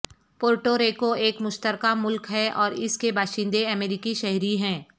Puerto Rico ایک مشترکہ ملک ہے اور اس کے باشندے امریکی شہری ہیں